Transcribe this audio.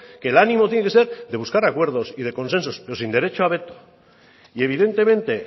que el ánimo tiene que ser de buscar acuerdos y de consensos pero sin derecho a veto y evidentemente